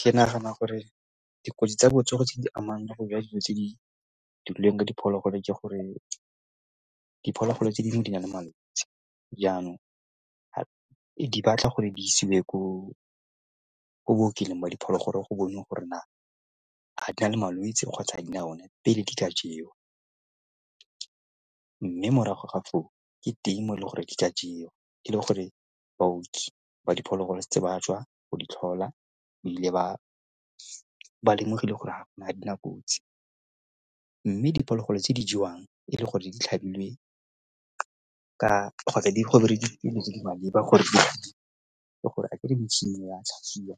Ke nagana gore dikotsi tsa botsogo tse di amang le go ja dijo tse di dirilweng ka diphologolo ke gore diphologolo tse dingwe di na le malwetsi jaanong di batla gore di isiwe ko bookelong ba diphologolo go bona gore na a di na le malwetsi kgotsa a di na one pele di ka jewa. Mme morago ga foo ke teng e le gore di ka jewa e le gore baoki ba diphologolo setse ba tswa go di tlhola ebile ba lemogile gore ga dina kotsi mme ke diphologolo tse di jewang e le gore di tlhabilwe kgotsa go berekisitswe dilo tse di maleba gore ke gore a kere metšhini ya tlhapisiwa